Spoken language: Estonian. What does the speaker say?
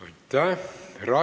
Aitäh!